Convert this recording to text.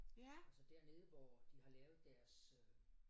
Altså dernede hvor de har lavet deres øh